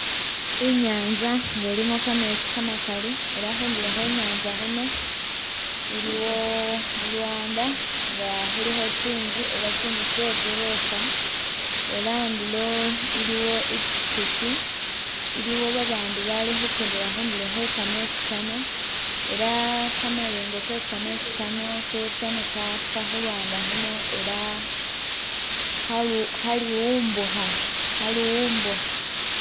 Inyanza nga ilimo kametsi kamakali, era khundulo khwe nyanza khuno, iliwo lulwanda nga khulikho tsinzu ela tsinzu tsetsi gorofa ela andulo iliwo i pikipiki, iliwo ba bandu bali khukendela khundulo khwe kametsi Kano ela kamayengo kekametsi kano ketsa ne kapa khu lwanda khuno ela khalu- khali'umbukha- khalu'umbukha.